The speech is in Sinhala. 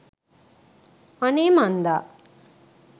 අනේ මන්දා